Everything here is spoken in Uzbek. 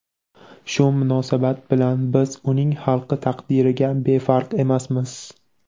Shu munosabat bilan biz uning xalqi taqdiriga befarq emasmiz.